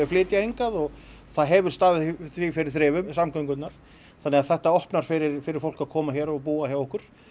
flytja hingað og það hefur staðið því fyrir þrifum samgöngurnar þannig að þetta opnar fyrir fyrir fólk að koma hér og búa hjá okkur